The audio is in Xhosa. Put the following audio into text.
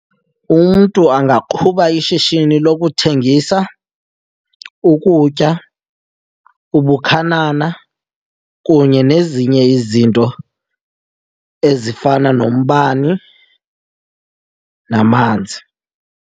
Umntu angaqhuba ishishini lokuthengisa ukutya, ubukhanana kunye nezinye izinto ezifana nombane namanzi.